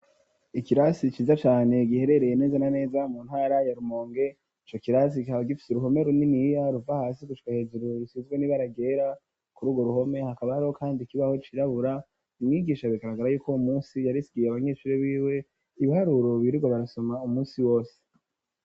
Îkirasi ciza cane giherereye neza na neza mu ntara yarumonge, co kirasi kaba gifite uruhome runiniya ruva hasi gushika hejuru, rusizwe n'ibara ryera, ku rugo ruhome hakaba hariho kandi kibaho cirabura, Umwigisha bigaragara y'uko umunsi yarisigiye abanyeshuri b'iwe ibiharuro ,birigwa barasoma umunsi wose.